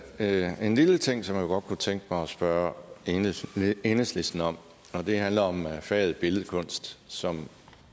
er en lille ting som jeg godt kunne tænke mig at spørge enhedslisten om og det handler om faget billedkunst som